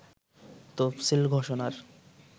তফসিল ঘোষণার